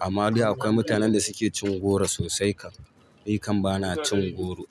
amma dai akwai mutanen da suke cin goro sosai kam. Ni kam bana cin goro.